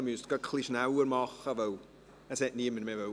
Sie müssen etwas schneller machen, weil niemand mehr sprechen wollte.